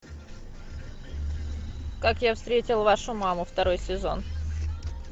как я встретил вашу маму второй сезон